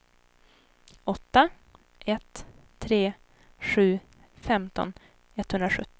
åtta ett tre sju femton etthundrasjuttio